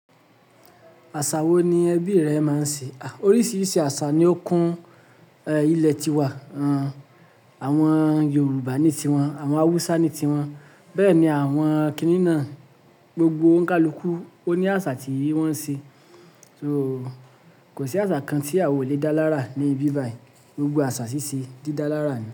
Àṣà wo ni ẹbí rẹ máa ń ṣe? Oríṣiríṣi àṣà ni ó kún ilẹ̀ ti wa. Awọn Yorùbá ní ti wọn, àwọn Hausa ní ti wọn, bẹ́ẹ̀ ni àwọn Kínní nà. Gbogbo oun kàlukú ó ní àsà tí wọ́n ń se. Kò sí àsà kan tí a ò lè dá lára ní ibi báyìí. Gbogbo àsà síse dídá lára ni.